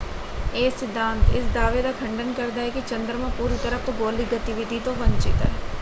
ਇਹ ਸਿਧਾਂਤ ਇਸ ਦਾਅਵੇ ਦਾ ਖੰਡਨ ਕਰਦਾ ਹੈ ਕਿ ਚੰਦਰਮਾ ਪੂਰੀ ਤਰ੍ਹਾਂ ਭੂਗੋਲਿਕ ਗਤੀਵਿਧੀ ਤੋਂ ਵੰਚਿਤ ਹੈ।